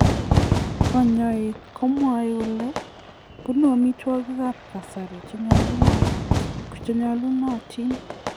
Kanyaik komwae kole bunu amitwokik ab kasari che nyalunatin